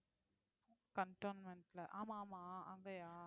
cantonment ல ஆமா ஆமா அங்கயா